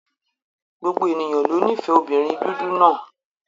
Gbogbo ènìyàn ló nífẹ̀ẹ́ obìnrin dúdú náà.